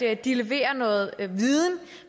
at de leverer noget viden